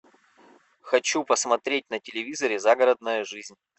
хочу посмотреть на телевизоре загородная жизнь